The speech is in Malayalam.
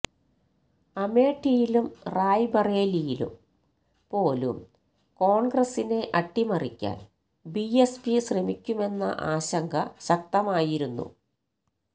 അമേഠിയിലും റായ്ബറേലിയിലും പോലും കോൺഗ്രസിനെ അട്ടിമറിക്കാൻ ബിഎസ്പി ശ്രമിക്കുമെന്ന ആശങ്ക ശക്തമായിരുന്നു